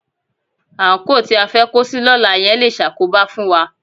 Àńkò tí a fẹ́ kó sí lọ́la yẹn le ṣàkóbá fún wa